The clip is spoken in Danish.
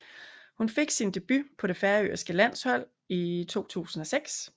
Hun fik sin debut på det færøske landshold i 2006